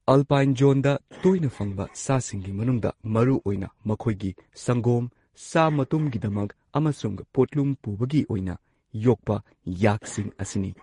Alpine ꯖꯣꯟꯗ ꯇꯣꯏꯅ ꯐꯪꯕ ꯁꯥꯁꯤꯡꯒꯤ ꯃꯅꯨꯡꯗ ꯃꯔꯨꯑꯣꯏꯅ ꯃꯈꯣꯏꯒꯤ ꯁꯪꯒꯣꯝ, ꯁꯥ ꯃꯇꯨꯝꯒꯤꯗꯃꯛ ꯑꯃꯁꯨꯡ ꯄꯣꯠꯂꯨꯝ ꯄꯨꯕꯒꯤ ꯑꯣꯏꯅ ꯌꯣꯛꯄ ꯌꯥꯛꯁꯤꯡ ꯑꯁꯤꯅꯤ꯫